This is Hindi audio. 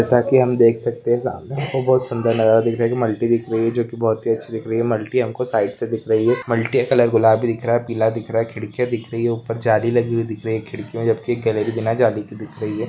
जैसा की हम देख सकते है ज्यादा यहा पे बहुत सुंदर लग रहा है मल्टी दिख रही है जो की बहुत ही अच्छी दिख रही है मल्टी हमको साइड से दिख रही है मल्टी का कलर गुलाबी दिख रहा है पीला दिख रहा है खिड़किया दिख रही है ऊपर जाली लगी हुई दिख रही खिड़किया उपर की भी ना जाली की दिख रही है।